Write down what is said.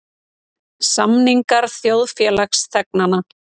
Samningar þjóðfélagsþegnanna.